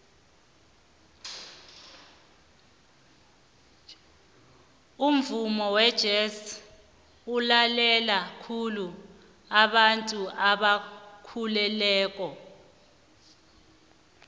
umvumo wejez ulalelwa khulu babantu abakhulileko